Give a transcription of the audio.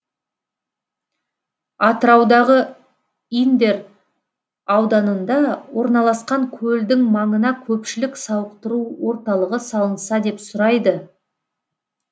атыраудағы индер ауданында орналасқан көлдің маңына көпшілік сауықтыру орталығы салынса деп сұрайды